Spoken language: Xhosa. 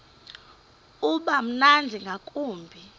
uba mnandi ngakumbi